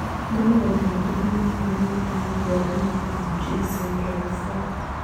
Nĩ maũndũ marĩkũ monanagia atĩ mũndũ arĩ na FG syndrome 4?